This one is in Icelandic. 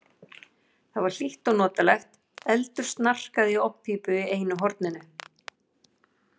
Þar var hlýtt og notalegt, eldur snarkaði í ofnpípu í einu horninu.